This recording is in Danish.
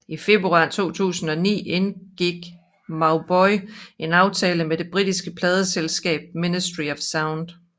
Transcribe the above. I februar 2009 indgik Mauboy en aftale med det britiske pladeselskab Ministry of Sound